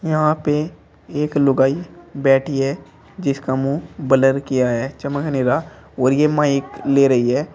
यहां पे एक लुगाई बैठी है जिसका मुंह ब्लर किया है चमक नहीं रहा और यह माइक ले रही है।